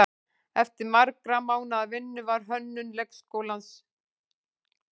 Eftir margra mánaða vinnu var hönnun leiksins lokið.